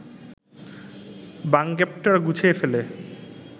বাঙ্পেটরা গুছিয়ে ফেলে